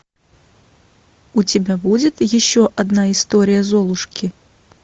у тебя будет еще одна история золушки